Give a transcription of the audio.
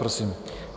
Prosím.